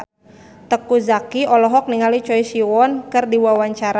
Teuku Zacky olohok ningali Choi Siwon keur diwawancara